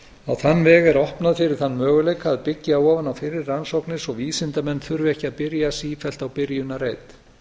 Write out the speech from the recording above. þann veg er opnað fyrir þann möguleika að byggja ofan á fyrri rannsóknir svo vísindamenn þurfi ekki að byrja sífellt á byrjunarreit